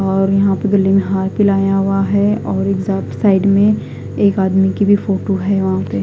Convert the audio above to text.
और यहा पे गले में हार पहनाया हुआ है और एक साइड साइड में एक आदमी की फोटो है वहा पे--